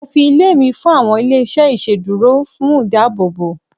mo fi ilé mi fún àwọn ilé iṣẹ iṣeduro fún ìdáàbòbò